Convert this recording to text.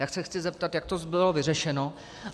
Tak se chci zeptat, jak to bylo vyřešeno.